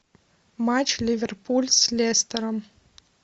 матч ливерпуль с лестером